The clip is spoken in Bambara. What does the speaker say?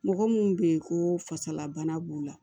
Mɔgɔ mun be yen koo fasala bana b'u la